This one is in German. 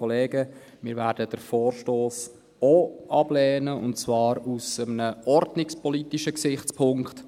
Wir werden den Vorstoss auch ablehnen, und zwar aus einem ordnungspolitischen Gesichtspunkt.